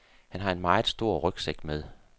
Han har en meget stor rygsæk med.